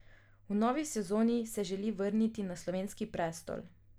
V novi sezoni se želi vrniti na slovenski prestol.